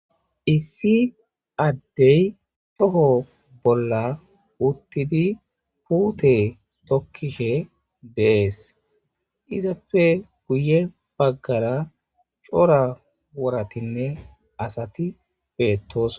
Issi addey toho bolla uttidi puute tokkishe dees izappe guye baggara cora woratinne asati beettos